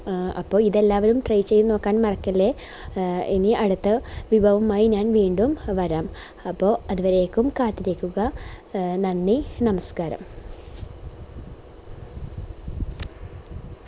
A അപ്പൊ ഇതെല്ലാവരും try ചെയ്ത് നോക്കാൻ മറക്കല്ലേ എ എനി അടുത്ത വിഭവവുമായി ഞാൻ വീണ്ടും വരാം അപ്പൊ അതുവരേക്കും കാത്തിരിക്കുക നന്ദി നമസ്ക്കാരം